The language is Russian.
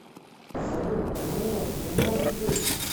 салют нет не может быть